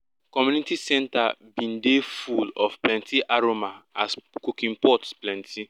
community centre bin dey full of plenty aroma as cooking pots plenty